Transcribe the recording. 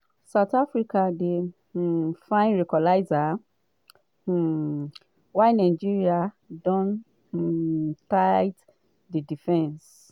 south africa dey um find equalizer um while nigeria don um tight di defence.